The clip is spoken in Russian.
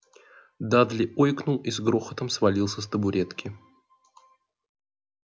дадли ойкнул и с грохотом свалился с табуретки